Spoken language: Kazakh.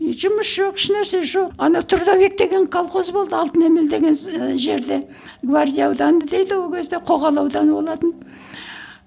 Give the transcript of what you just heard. жұмыс жоқ ешнәрсе жоқ ана трудовик деген колхоз болды алтын емел деген і жерде гвардия ауданы дейді ол кезде қоғалы ауданы болатын